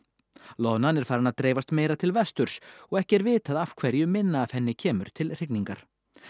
loðnan er farin að dreifast meira til vesturs og ekki er vitað af hverju minna af henni kemur til hrygningar